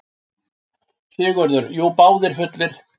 SIGURÐUR: Jú, báðir fullir.